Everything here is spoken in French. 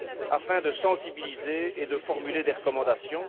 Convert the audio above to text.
afin de sensibiliser et de formuler des recommandations.